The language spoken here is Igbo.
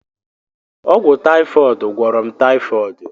Ọgwụ taifọd gwọrọ m taifọdi.